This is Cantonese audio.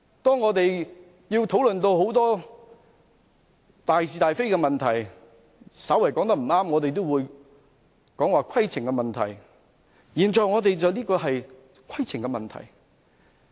當議員討論很多大是大非的問題時稍欠妥當，我們也會提出規程問題，我們現在討論的正是規程問題。